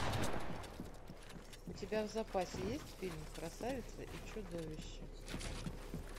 у тебя в запасе есть фильм красавица и чудовище